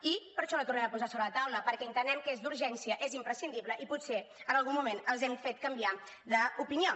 i per això la tornem a posar sobre la taula perquè entenem que és d’urgència és imprescindible i potser en algun moment els hem fet canviar d’opinió